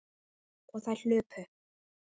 Og þær hlupu.